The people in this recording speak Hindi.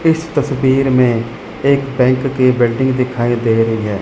इस तस्वीर में एक बैंक के बिल्डिंग दिखाई दे रही है।